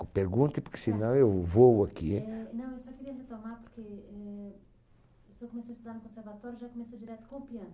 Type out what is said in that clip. Q, pergunte, porque senão, eu vôo aqui, hein? Eh, não eu só queria retomar, porque, eh, o senhor começou a estudar no conservatório já começou direto com o piano.